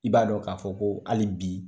I b'a dɔn k'a fɔ ko hali bi